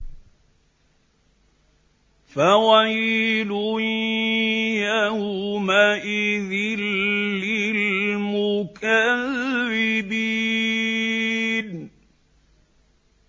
فَوَيْلٌ يَوْمَئِذٍ لِّلْمُكَذِّبِينَ